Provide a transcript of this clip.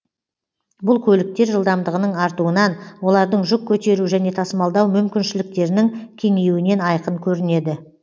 бұл көліктер жылдамдығының артуынан олардың жүк көтеру және тасымалдау мүмкіншіліктерінің кеңеюінен айқын көрінеді